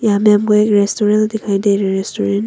यहां पे हमको एक रेस्टोरेंट दिखाई दे रहे रेस्टोरेंट --